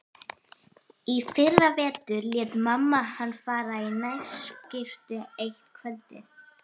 Í fyrravetur lét mamma hana fara í nærskyrtu eitt kvöldið.